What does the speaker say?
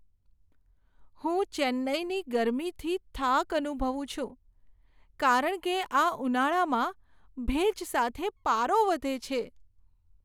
હું ચેન્નાઈની ગરમીથી થાક અનુભવું છું કારણ કે આ ઉનાળામાં ભેજ સાથે પારો વધે છે.